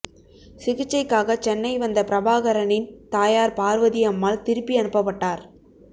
சிகிச்சைக்காக சென்னை வந்த பிரபாகரனின் தாயார் பார்வதி அம்மாள் திருப்பி அனுப்பப்பட்டார்